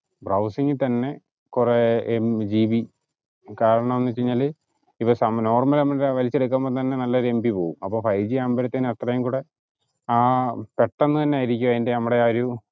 browsing ഇൽ തന്നെ കൊറേ ഏർ gb കാരണംഎന്ന് വെച് കഴിഞ്ഞാല് ഇവ normal വലിച്ചെടുക്കുമ്പോ തന്നെ നല്ലൊരു mb പോവും അപ്പോ ഫൈവ് ജി ആമ്പോഴത്തേനും അത്രേം കൂടെ ആ പെട്ടന്ന് അന്നെ ആയിരിക്കും അയിന്റെ നമ്മടെ ആ ഒരു